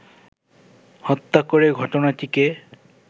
হত্যা করে ঘটনাটিকে